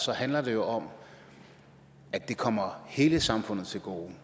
handler det jo om at det kommer hele samfundet til gode